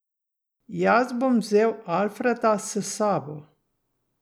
Jaz bom vzel Alfreda s sabo.